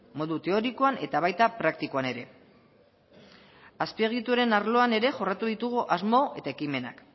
modu teorikoan eta baita praktikoan ere azpiegituren arloan ere jorratu ditugu asmo eta ekimenak